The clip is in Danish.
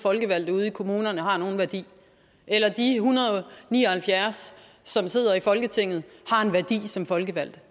folkevalgte ude i kommunerne har nogen værdi eller at de en hundrede og ni og halvfjerds som sidder i folketinget har en værdi som folkevalgte